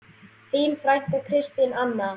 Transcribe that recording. Þín frænka, Kristín Anna.